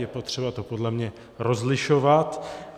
Je potřeba to podle mě rozlišovat.